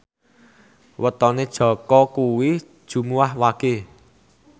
wetone Jaka kuwi Jumuwah Wage